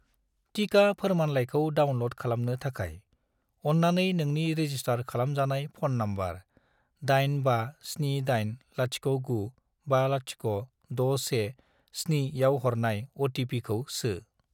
टिका फोरमानलाइखौ डाउनल'ड खालामनो थाखाय, अन्नानै नोंनि रेजिसटार खालामजानाय फ'न नम्बर 85780950617 आव हरनाय अ.टि.पि.खौ सो|